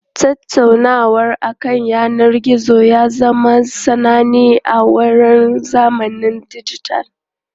Tattaunawa akan yanar gizo ya zama sananne a wannan zamanin dijital.